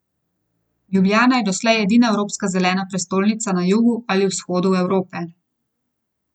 Ljubljana je doslej edina evropska zelena prestolnica na jugu ali vzhodu Evrope.